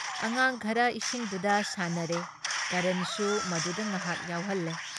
ꯑꯉꯥꯥꯡ ꯈꯔ ꯏꯁꯤꯡꯗꯨꯗ ꯁꯥꯟꯅꯔꯦ, ꯀꯔꯟꯁꯨ ꯃꯗꯨꯗ ꯉꯍꯥꯛ ꯌꯥꯎꯍꯜꯂꯦ ꯫